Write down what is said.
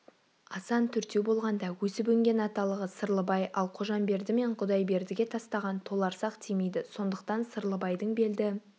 асан төртеу болғанда өсіп-өнген аталығы сырлыбай ал қожамберді мен құдайбердіге тастаған толарсақ тимейді сондықтан сырлыбайдың белді